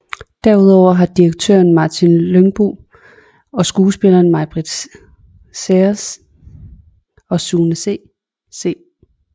Derudover har instruktøren Martin Lyngbo og skuespillerne Maibritt Saerens og Sune C